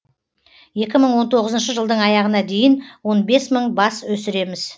екі мың он тоғызыншы жылдың аяғына дейін он бес мың бас өсіреміз